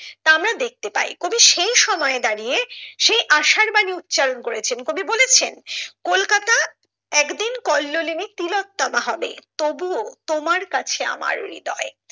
দেখতে পাই কবি সেই সময়ে দাঁড়িয়ে সেই আশারবানী উচ্চারণ করেছেন কবি বলেছেন কলকাতা একদিন কল্লোলিনী তিলোত্তমা হবে তবু ও তোমার কাছে আমার হৃদয়।